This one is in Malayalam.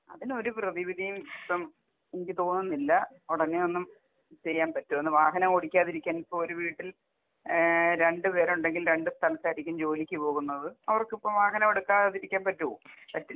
അതിന് ഒരു പ്രതിവിധിയും ഇല്ല. ഇപ്പം എനിക്ക് തോന്നുന്നില്ല ഉടനെയൊന്നും ചെയ്യാൻ പറ്റോന്ന് വാഹനം ഓടിക്കാതിരിക്കാൻ ഇപ്പൊ ഒരു വീട്ടിൽ ഏഹ് രണ്ടുപേരുണ്ടെങ്കിൽ രണ്ട് സ്ഥലത്തായിരിക്കും ജോലിക്ക് പോകുന്നത്. അവർക്കിപ്പോ വാഹനം എടുക്കാതിരിക്കാൻ പറ്റോ? പറ്റില്ല.